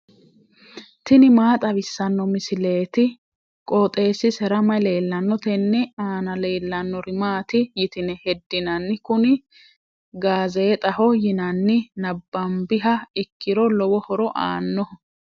tini maa xawissanno misileeti? qooxeessisera may leellanno? tenne aana leellannori maati yitine heddinanni? kuni gaazeexaho yinanni nabambiha ikkiro lowo horo aannoho.